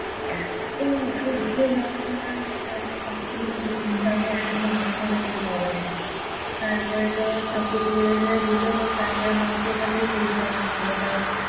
এত্তো অসহ্য যন্ত্রণা মানে আমি সত্যি সেই দিনটা আমি এখনও মনে পড়লে চোখে জল আসে। তারপরে তো সবকিছু বের করে দিলো। তারপরে মা কে ওখান থেকে সরিয়ে দেওয়া হয়েছিলো। কারণ